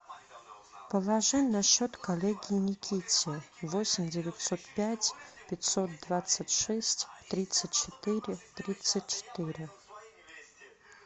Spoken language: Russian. положи на счет коллеге никите восемь девятьсот пять пятьсот двадцать шесть тридцать четыре тридцать четыре